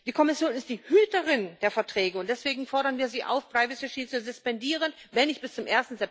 Die Kommission ist die Hüterin der Verträge, und deswegen fordern wir sie auf, das Privacy Shield zu suspendieren, wenn nicht bis zum